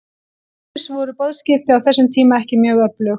Til dæmis voru boðskipti á þessum tíma ekki mjög öflug.